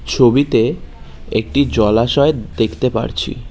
ছবিতে একটি জলাশয় দেখতে পারছি।